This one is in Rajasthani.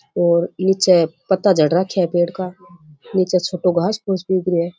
और नीचे पत्ता झड़ रखया है पेड़ का नीचे छोटो घास फुस भी उगरो है।